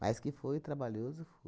Mas que foi trabalhoso